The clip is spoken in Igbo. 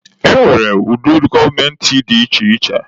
E nwere ụdị gọọmentị dị iche iche.